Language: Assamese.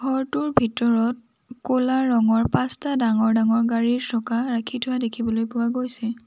ঘৰটোৰ ভিতৰত ক'লা ৰঙৰ পাঁচটা ডাঙৰ ডাঙৰ গাড়ী চকা ৰাখি থোৱা দেখিবলৈ পোৱা গৈছে।